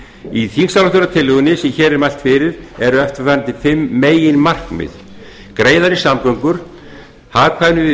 í þingsályktunartillögunni sem hér er mælt fyrir eru eftirfarandi fimm meginmarkmið greiðari samgöngur hagkvæmni við